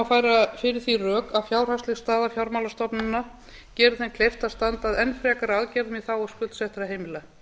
færa fyrir því rök að fjárhagsleg staða fjármálastofnana geri þeim kleift að standa að enn frekari aðgerðum í þágu skuldsettra heimila